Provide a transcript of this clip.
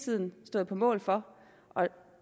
tiden stået på mål for og